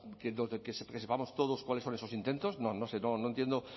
que sepamos todos cuáles son esos intentos no sé no entiendo